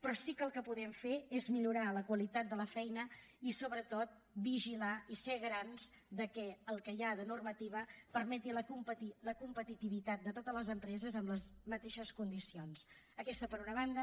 però sí que el que podem fer és millorar la qualitat de la feina i sobretot vigilar i ser garants de que el que hi ha de normativa permeti la competitivitat de totes les empreses amb les mateixes condicions aquesta per una banda